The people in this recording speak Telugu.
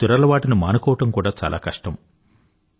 ఈ దురలవాటుని మానుకోవడం కూడా చాలా కష్టం